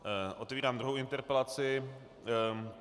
Otevírám druhou interpelaci.